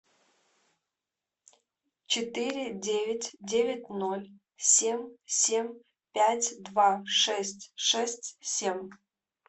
четыре девять девять ноль семь семь пять два шесть шесть семь